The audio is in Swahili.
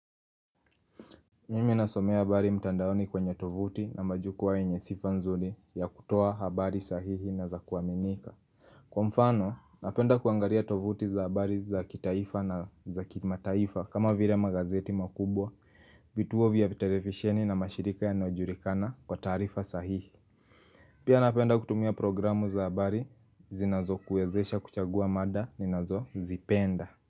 Mimi nasomea habari mtandaoni kwenye tovuti na majukwaa yenye sifa nzuri ya kutoa habari sahihi na za kuaminika Kwa mfano, napenda kuangalia tovuti za habari za kitaifa na za kimataifa kama vile magazeti makubwa, vituo vya televisheni na mashirika yanayojulikana kwa taarifa sahihi Pia napenda kutumia programu za habari, zinazokuezesha kuchagua mada, ninazozipenda.